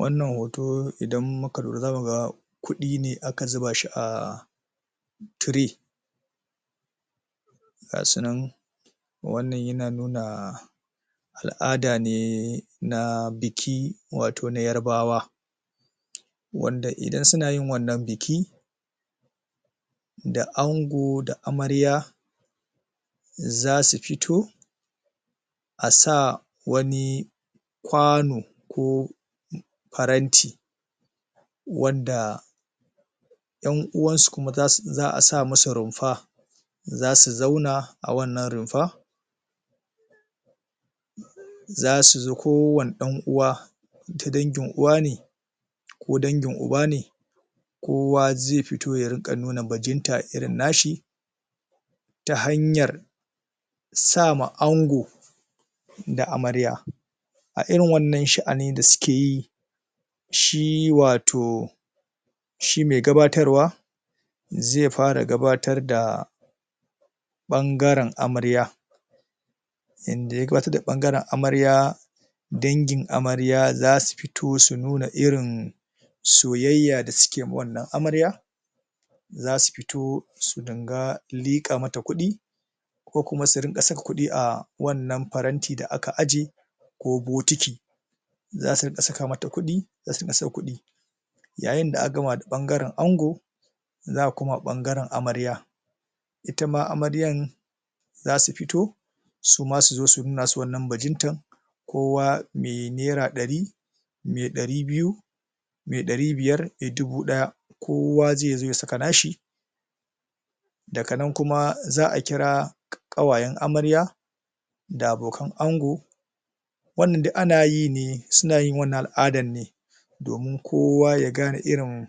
Wannan hoto idan muka lura za muga ƙudi ne aka zubashi a... Tire Gasunan Wannan yana nuna Al'ada ne...... Na..... biki Wato na yarabawa Wanda idan suna yin wannan biki Da ango da amarya Zasu fito A sah Wani Kwano Ko Paranti Wanda ƴan uwan su kuma zasu, za'a sa masu rumfa Zasu zauna A wannan rumfa Zasu su, kowane dan uwa Ta dangin uwa ne Ko dangin uba ne Kowa zai fito ya rinka nuna bajinta irin nashi!, Ta hanyar Sama ango Da amarya A irin wannan sha'ani da suke yi Shi wato Shi mai gabatar wa Zai fara gabatar da ɓangaren amarya Inda ya gabatar ɓangaren amarya Dangin amarya zasu fito su nuna irin Soyayya da suke ma wannan amarya Zasu fito su dinga liƙa mata kudi Ko kuma su rinƙa saka kudi ah Wannan paranti da aka aje Ko botiki Zasu rinƙa saka mata kudi Yayin da aka gama da bangaren ango Za'a koma ɓangaren amarya Itama amaryan Zasu fito Suma suzo su nuna wannan bajintan Kowa mai naira ɗari Mai ɗari biyu Mai ɗari biyar mai dubu ɗaya Kowa zaizo ya saka nashi Daka nan kuma za'a kira ƙawayen amarya Da abokan ango Wannan duk ana yine Suna yin wannan al'adan ne Domun kowa ya gane irin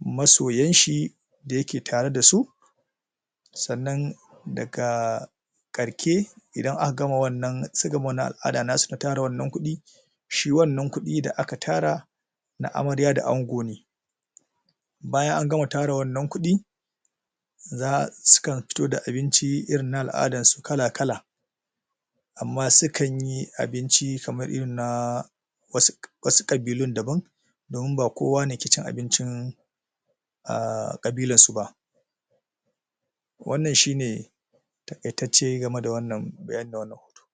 Masoyan shi Da yake tare dasu! Sannan Daga ƙarke Idan aka gama wannan, suka gama wannan al'ada nasu na tara wannan kudi Shi wannan kudi da aka tara Na amarya da ango ne Bayan an gama tara wannan kudi, Za, Sukan fito da abinci irin na al'adan su kala kala Amma sukan yi abinci kamar irin na........... Wasu, Wasu ƙabilun daban Domin ba kowa ne ke cin abincin Umm ƙabilar suba Wannan shine Taƙaitace game da wannnan hoto